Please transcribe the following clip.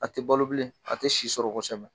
A tɛ balo bilen , a tɛ si sɔrɔ kosɛbɛ!